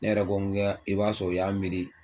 Ne yɛrɛ ko i b'a sɔrɔ o y'a miiri